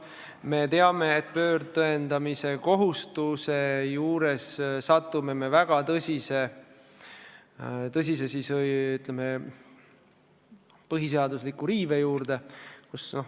Me teame, et ümberpööratud tõendamiskohustuse korral meil tekib väga tõsine põhiseaduslikkuse riive.